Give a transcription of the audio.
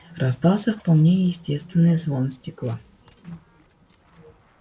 раздался вполне естественный звон стекла